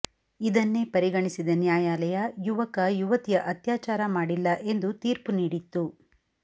ಇದನ್ನೇ ಪರಿಗಣಿಸಿದ ನ್ಯಾಯಾಲಯ ಯುವಕ ಯುವತಿಯ ಅತ್ಯಾಚಾರ ಮಾಡಿಲ್ಲ ಎಂದು ತೀರ್ಪು ನೀಡಿತ್ತು